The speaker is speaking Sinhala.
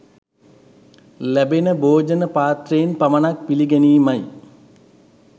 ලැබෙන භෝජන පාත්‍රයෙන් පමණක් පිළි ගැනීමයි.